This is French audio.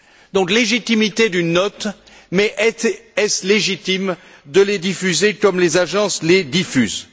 Donc, légitimité d'une note, mais est ce légitime de les diffuser comme les agences les diffusent?